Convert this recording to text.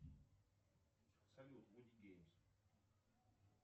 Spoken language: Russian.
салют вуди геймс